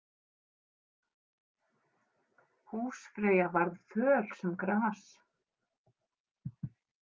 Húsfreyja varð föl sem gras.